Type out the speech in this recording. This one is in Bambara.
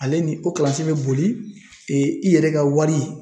Ale ni o kalansen be boli i yɛrɛ ka wari